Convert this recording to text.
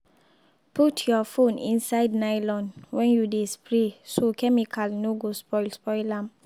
put your phone inside nylon when you dey spray so chemical no go spoil spoil am.